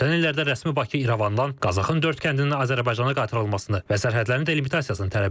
Ötən illərdə rəsmi Bakı İrəvandan Qazaxın dörd kəndinin Azərbaycana qaytarılmasını və sərhədlərin delimitasiyasını tələb edib.